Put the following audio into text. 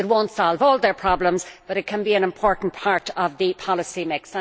It will not solve all their problems, but it can be an important part of the policy mix.